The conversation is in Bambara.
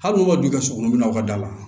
Hali n'u ka du ka surun aw ka da la